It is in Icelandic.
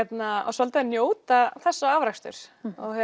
svolítið að njóta þessa afraksturs